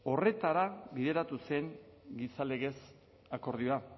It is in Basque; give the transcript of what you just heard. horretara bideratu zen gizalegez akordioa